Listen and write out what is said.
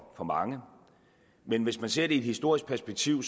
for mange men hvis man ser det i et historisk perspektiv